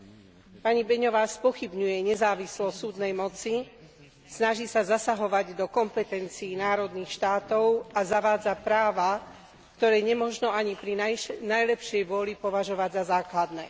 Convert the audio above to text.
Pani Flašíková Beňová spochybňuje nezávislosť súdnej moci, snaží sa zasahovať do kompetencií národných štátov a zavádza práva, ktoré nemožno ani pri najlepšej vôli považovať za základné.